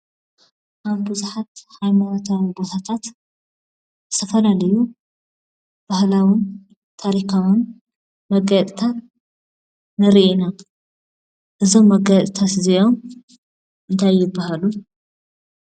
ኣብ ብዙሓት ሃይማኖታዊ ቦታታት ዝ/ዩ ባሀላውን ታሪካውን መጋየፅታት ንርኢ ኢና። እዞም መጋየፅታት እዚኦም እንታይ ይበሃሉ?